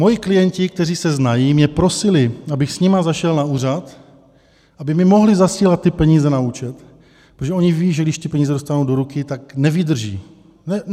Moji klienti, kteří se znají, mě prosili, abych s nimi zašel na úřad, aby mi mohli zasílat ty peníze na účet, protože oni vědí, že když ty peníze dostanou do ruky, tak nevydrží.